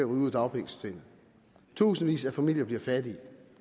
ud af dagpengesystemet at tusindvis af familier bliver fattige